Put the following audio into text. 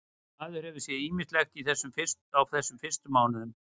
Maður hefur séð ýmislegt á þessum fyrstu mánuðum.